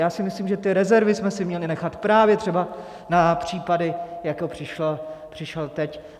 Já si myslím, že ty rezervy jsme si měli nechat právě třeba na případy, jako přišel teď.